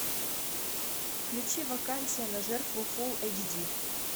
включи вакансия на жертву фул эйч ди